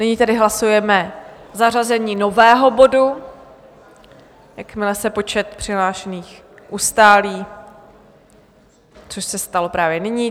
Nyní tedy hlasujeme zařazení nového bodu, jakmile se počet přihlášených ustálí, což se stalo právě nyní.